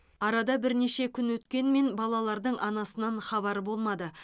арада бірнеше күн өткенмен балалардың анасынан хабар болмады